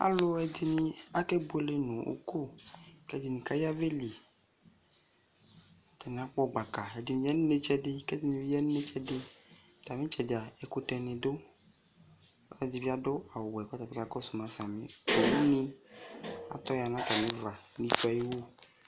Aluɛde ne akɛ buele no uko kɛ ɛdene ka yavɛli Atane akpɔ gbaka Ɛde ya no inetsɛde kɛ ɛdene be ya no intseɛde Atame itsɛdea ɛkutɛ ne du kɛ ɛde be ado awueɛ kɔka kɔso ma sami Owu ne atɔ ya no atame uva ne tsue ayiwu